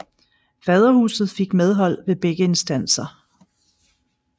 Faderhuset fik medhold ved begge instanser